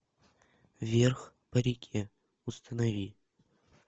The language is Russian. вверх по реке установи